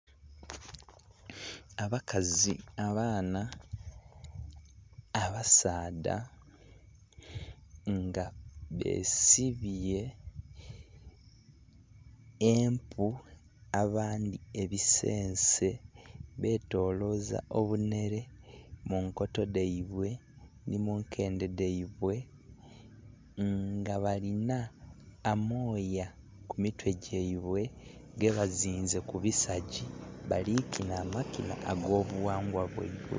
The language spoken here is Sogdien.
Abakazi, abaana, abasaadha nga besibye empu n'abandhi ebisense betoloza obunhere munkoto dhaibwe ni munkedhe dhaibwe nga balina amooya kumitwe gyaibwe gebazinze kubi sagi balikinha amakinha agobughangwa bwaibwe.